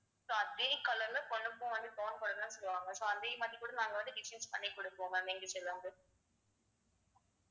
so அதே color ல பொண்ணுக்கும் வந்து gown போடத்தான் சொல்லுவாங்க so அதே மாதிரி கூட நாங்க வந்து designs பண்ணி கொடுப்போம் ma'am எங்க side ல இருந்து